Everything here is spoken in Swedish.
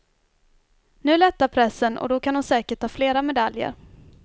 Nu lättar pressen och då kan hon säkert ta flera medaljer.